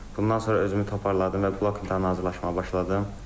Bundan sonra özümü toparladım və blok imtahanına hazırlaşmağa başladım.